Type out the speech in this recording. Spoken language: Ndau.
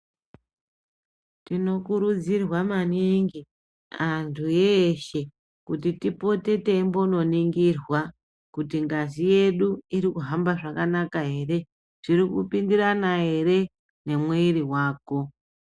Tinokurudzirwa maningi kuti antu eshe tipote teimbononingirwa kuti ngazi yedu irikuhamba zvakanaka here zvirikupindirana here nemwiri wako .